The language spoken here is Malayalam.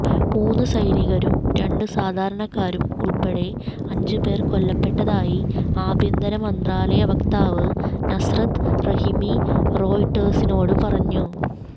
മൂന്ന് സൈനികരും രണ്ട് സാധാരണക്കാരും ഉൾപ്പെടെ അഞ്ച് പേർ കൊല്ലപ്പെട്ടതായി ആഭ്യന്തര മന്ത്രാലയ വക്താവ് നസ്രത്ത് റഹിമി റോയിട്ടേഴ്സിനോട് പറഞ്ഞു